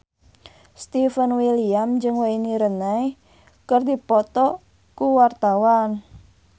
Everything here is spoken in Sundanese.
Stefan William jeung Wayne Rooney keur dipoto ku wartawan